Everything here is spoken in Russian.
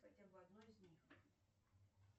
хотя бы одно из них